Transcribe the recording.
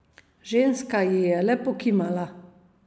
Ženska ji je le pokimala.